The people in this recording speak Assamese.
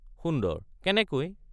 সুন্দৰ— কেনেকৈ?